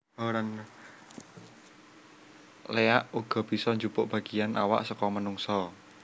Léak uga bisa njupuk bagéyan awak saka manungsa